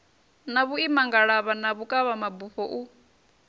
na vhuimangalavha na vhukavhabufho u